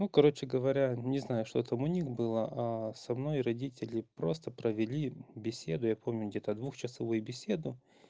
ну короче говоря не знаю что там у них было а со мной родители просто провели беседу я помню где-то двухчасовую беседу